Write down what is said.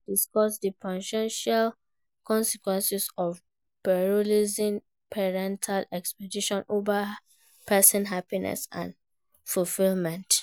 You fit discuss di po ten tial consequences of prioritizing parental expectations over personal happiness and fulfillment.